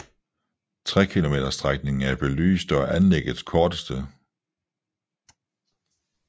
Trekilometersstrækningen er belyst og er anlæggets korteste